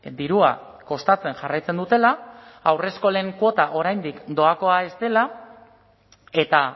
dirua kostatzen jarraitzen dutela haurreskolen kuota oraindik doakoa ez dela eta